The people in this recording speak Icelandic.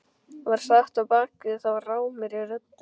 var sagt á bak við þá rámri röddu.